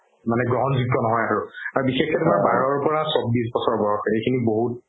মানে যুগ্য নহয় এইটো আৰু বিশেষকে তুমাৰ বাৰ পা চৌব্বিশ বছৰ বয়স এইখিনি বহুত